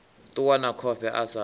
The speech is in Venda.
ṱuwa na khofhe a sa